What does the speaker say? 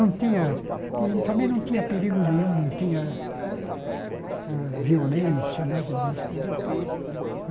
Não tinha e também não tinha perigo nenhum, não tinha hã violência, nada disso né.